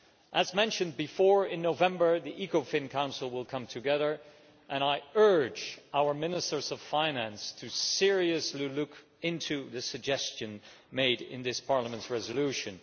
As mentioned before, in November the ECOFIN Council will come together, and I urge our Ministers of Finance to seriously look into the suggestion made in this Parliament's resolution.